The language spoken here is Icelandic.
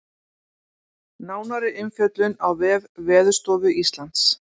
Nánari umfjöllun á vef Veðurstofu Íslands